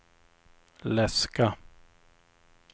läska